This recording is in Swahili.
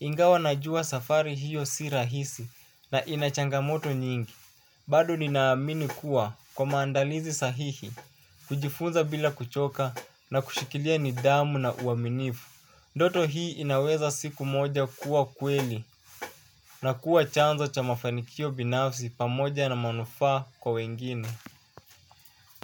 Ingawa na jua safari hiyo si rahisi na inachangamoto nyingi, baado ninaamini kuwa kwa mandalizi sahihi, kujifunza bila kuchoka na kushikilia ni dhamu na uaminifu. Ndoto hii inaweza siku moja kuwa kweli na kuwa chanzo cha mafanikio binafsi pamoja na manufaa kwa wengine.